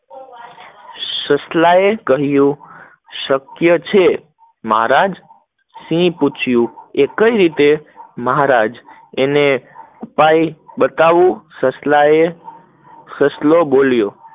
સસલાએ કહીંયુ શક્ય છે, મહારાજ સિંહે પૂછિયું કઈ રીતે, મહારાજ એનો ઉપાય બતાવું, સસલાએ સસલાએ બોલ્યો,